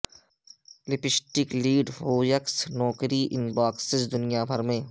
lipstick lead hoaxes نوکری ان boxes دنیا بھر میں